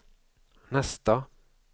nästa